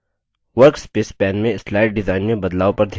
workspace pane में slide design में बदलाव पर ध्यान दें